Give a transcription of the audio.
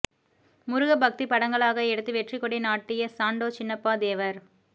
முருக பக்தி படங்களாக எடுத்து வெற்றிக்கொடி நாட்டிய சாண்டோ சின்னப்பா தேவர்